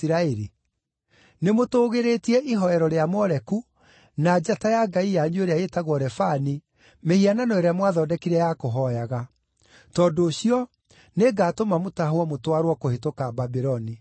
Nĩmũtũũgĩrĩtie ihooero rĩa Moleku, na njata ya ngai yanyu ĩrĩa ĩĩtagwo Refani, mĩhianano ĩrĩa mwathondekire ya kũhooyaga. Tondũ ũcio, nĩngatũma mũtahwo mũtwarwo’ kũhĩtũka Babuloni.